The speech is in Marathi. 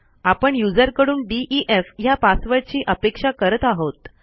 आपण युजरकडून डीईएफ ह्या पासवर्डची अपेक्षा करत आहोत